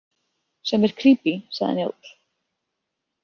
Sem er krípí, sagði Njáll.